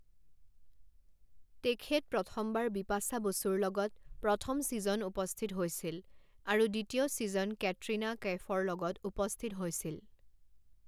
তেখেত প্ৰথমবাৰ বিপাশা বসুৰ লগত প্ৰথম চিজন উপস্থিত হৈছিল আৰু দ্বিতীয় চিজন কেটৰীনা কৈফৰ লগত উপস্থিত হৈছিল।